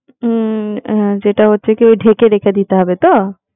হম যেটা হচ্ছে কি ওই ঢেকে রেখে দিতে হবে তো?